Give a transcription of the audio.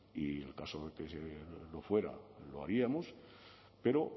y en el caso de que lo fuera lo haríamos pero